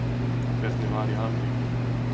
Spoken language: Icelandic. Hvernig var í Ameríku?